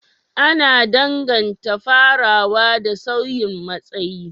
Ana danganta farawa da sauyin matsayi,